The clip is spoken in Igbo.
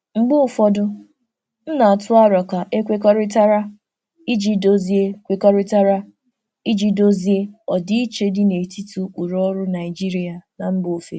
Mgbe ụfọdụ, m na-atụ aro ka e kwekọrịtara iji dozie kwekọrịtara iji dozie ọdịiche dị n'etiti ụkpụrụ ọrụ Naijiria na mba ofesi.